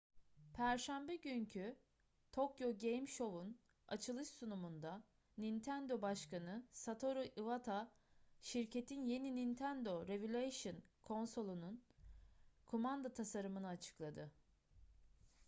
perşembe günkü tokyo game show'un açılış sunumunda nintendo başkanı satoru iwata şirketin yeni nintendo revolution konsolunun kumanda tasarımını açıkladı